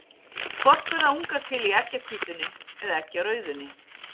Hvort verða ungar til í eggjahvítunni eða eggjarauðunni?